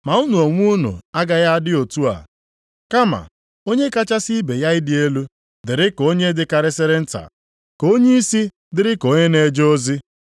Ma unu onwe unu agaghị adị otu a. Kama onye kachasị ibe ya ịdị elu dịrị ka onye dịkarịsịrị nta. Ka onyeisi dịrị ka onye na-eje ozi.